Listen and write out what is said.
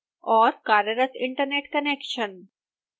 कार्यरत internet connection